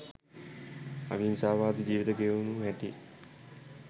අවිහිංසාවාදී ජීවිත ගෙවු හැටි,